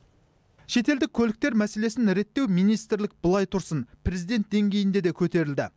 шетелдік көліктер мәселесін реттеу министрлік былай тұрсын президент деңгейінде де көтерілді